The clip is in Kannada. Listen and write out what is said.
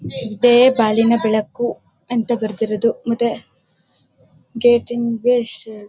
ಇದೆ ಬಾಳಿನ ಬೆಳಕು ಅಂತ ಬರೆದಿರೋದು ಮತ್ತೆ ಗೇಟ್ಗೆ ಬೆಸ್ ಹೇಳ್ಬಹುದು